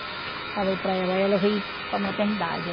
Falei para ela, aí ela veio para maternidade.